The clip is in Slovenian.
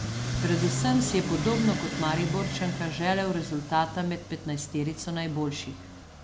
Predvsem si je podobno kot Mariborčanka želel rezultata med petnajsterico najboljših.